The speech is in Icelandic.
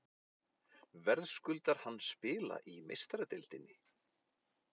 Verðskuldar hann spila í Meistaradeildinni?